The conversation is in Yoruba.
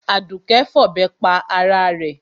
Àdùké fọ̀bẹ pa ara rẹ̀.